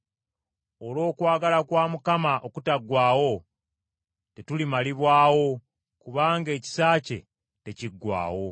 Olw’okwagala kwa Mukama okutaggwaawo, tetulimalibwawo, kubanga ekisa kye tekiggwaawo.